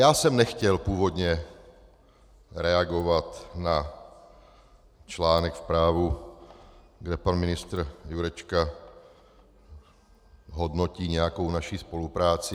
Já jsem nechtěl původně reagovat na článek v Právu, kde pan ministr Jurečka hodnotí nějakou naši spolupráci.